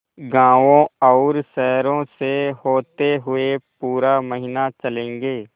गाँवों और शहरों से होते हुए पूरा महीना चलेंगे